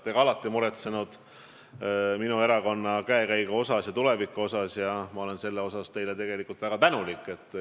Te olete alati muretsenud minu erakonna käekäigu ja tuleviku pärast ning ma olen selle eest teile väga tänulik.